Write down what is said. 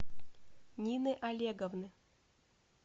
нины олеговны